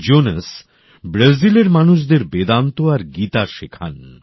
Jones ব্রাজিলের মানুষদের বেদান্ত আর গীতা শেখান